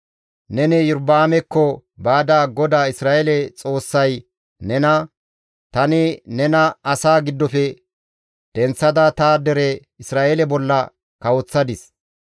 Neni Iyorba7aamekko baada GODAA Isra7eele Xoossay nena, ‹Tani nena asaa giddofe denththada ta dere Isra7eele bolla kawoththadis.